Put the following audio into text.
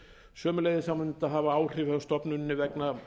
sömuleiðis mun þetta hafa áhrif hjá stofnuninni vegna